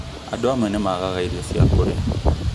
Andũ amwe nĩmagaga irio cia kũrĩa